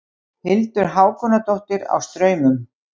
Hildur Hákonardóttir á Straumum